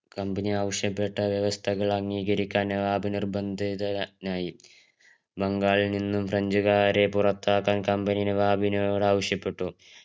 company ആവിശ്യപെട്ട വ്യവസ്ഥകൾ അംഗീകരിക്കാൻ നവാബ് നിർബന്ധിതനായി ബംഗാളിൽ നിന്നും ഫ്രഞ്ച്കാരെ പുറത്താകാൻ company നവാബിനോദ് ആവിശ്യപ്പെട്ടു